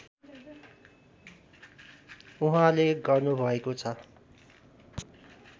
उहाँले गर्नुभएको छ